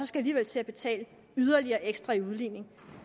skal til at betale yderligere ekstra i udligning